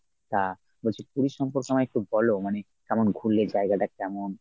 তা বলছি পুরী সম্পর্কে আমায় একটু বল মানি কেমন ঘুরলে জায়গাটা কেমন?